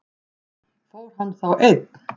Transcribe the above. Fór hann þá einn?